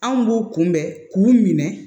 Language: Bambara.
Anw b'u kunbɛn k'u minɛ